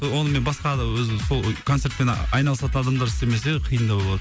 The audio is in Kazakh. ы онымен басқа ана өзі сол концертпен а айналысатын адамдар істемесе қиындау болады